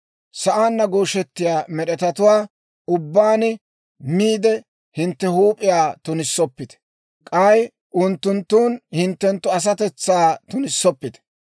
Sa'aanna gooshettiyaa med'etatuwaa ubbaan miide hintte huup'iyaw tunoppite; k'ay unttunttun hintte asatetsaa tunissoppite.